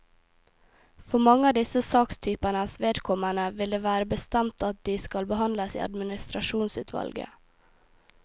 For mange av disse sakstypenes vedkommende vil det være bestemt at de skal behandles i administrasjonsutvalget.